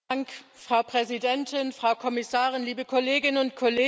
Frau Präsidentin, Frau Kommissarin, liebe Kolleginnen und Kollegen!